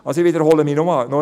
Ich wiederhole nochmals: